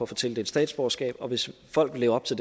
få tildelt statsborgerskab og hvis folk lever op til